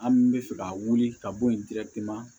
An bɛ fɛ ka wuli ka bɔ yen